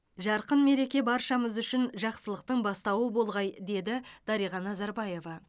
жарқын мереке баршамыз үшін жақсылықтың бастауы болғай деді дариға назарбаева